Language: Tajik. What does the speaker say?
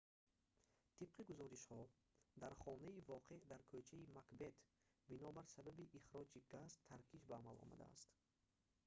тибқи гузоришҳо дар хонаи воқеъ дар кӯчаи макбет бинобар сабаби ихроҷи газ таркиш ба амал омадааст